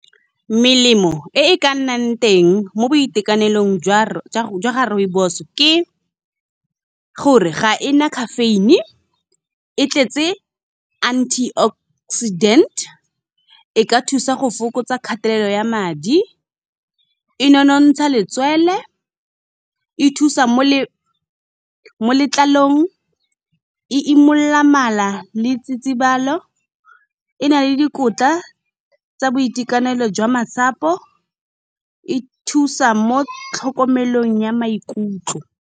melemo e e ka nnang teng mo boitekanelong jwa ga rooibos, ke gore ga ena caffeine e tletse anti oxidant, e ka thusa go fokotsa kgatelelo ya madi, e nonontsha letswele, e thusa mo letlalong, e imolola mala le tsitsibalo, e na le dikotla tsa boitekanelo jwa masapo, e thusa mo tlhokomelong ya maikutlo.